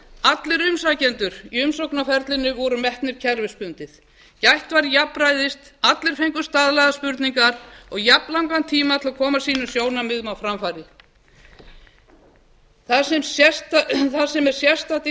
allir umsækjendur í umsóknarferlinu voru metnir kerfisbundið gætt var jafnræðis allir fengu staðlaðar spurningar og jafnlangan tíma til að koma sínum sjónarmiðum á framfæri það sem er sérstakt í